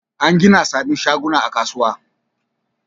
An gina sabbin shaguna a kasuwar.